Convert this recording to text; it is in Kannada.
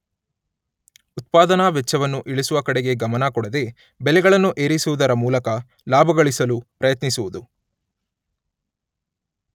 ಉತ್ಪಾದನಾ ವೆಚ್ಚವನ್ನು ಇಳಿಸುವ ಕಡೆಗೆ ಗಮನ ಕೊಡದೆ ಬೆಲೆಗಳನ್ನು ಏರಿಸುವುದರ ಮೂಲಕ ಲಾಭಗಳಿಸಲು ಪ್ರಯತ್ನಿಸುವುದು.